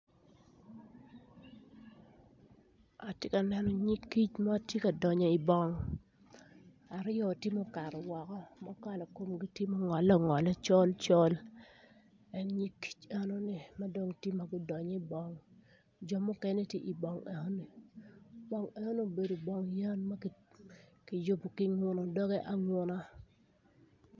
Atye ka neno nyig kic ma tye ka donyo i bong, aryo tye ma okato woko ma kala komgi tye ma ongolle colcol en nyig kic enoni ma dong tye gudonyo i bong mukene tye i bong enoni. Bong enoni obedo bong yeny ma kiyubo kinguno doge anguna.